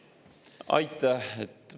Aitäh!